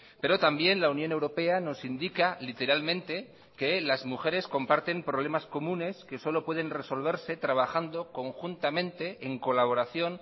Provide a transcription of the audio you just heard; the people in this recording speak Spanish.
pero también la unión europea nos indica literalmente que las mujeres comparten problemas comunes que solo pueden resolverse trabajando conjuntamente en colaboración